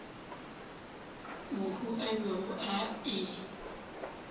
mohu a bego a e